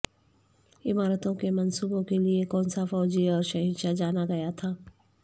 عمارتوں کے منصوبوں کے لئے کونسا فوجی اور شہنشاہ جانا گیا تھا